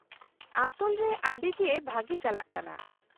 -ᱟᱥᱚᱞ ᱨᱮ ᱟᱰᱤ ᱜᱮ ᱵᱷᱟᱜᱤ ᱪᱟᱞᱟᱜ ᱠᱟᱱᱟ ᱾